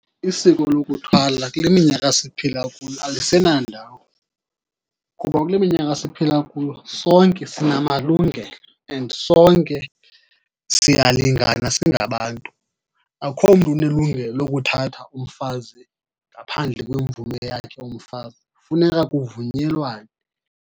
Isiko lokuthwala kule minyaka siphila kuyo alisenandawo, kuba kule minyaka siphila kuyo sonke sinamalungelo and sonke siyalingana singabantu. Akho mntu unelungelo lokuthatha umfazi ngaphandle kwemvume yakhe umfazi, funeka kuvunyelwane.